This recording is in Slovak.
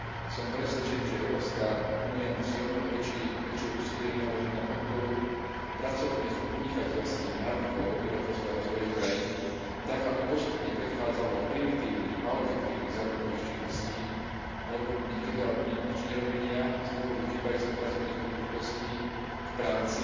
Som presvedčený, že Európska únia musí omnoho väčšie úsilie vynaložiť na podporu pracovných a podnikateľských návykov obyvateľstva rozvojových krajín tak, aby postupne prechádzalo od primitívnych, málo efektívnych zárobkových činností, alebo niekedy aj od ničnerobenia z dôvodu chýbajúcich pracovných príležitostí, k práci,